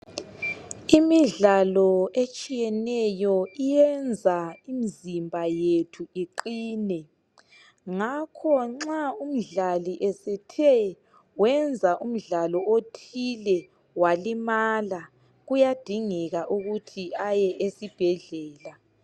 imidlalo etshiyeneyo iyenza imizimba yethu iqhine ngakho nxa umdlali esethe wenza umdlalo othile walimala kuyadingeka ukuthi aye esibhedlela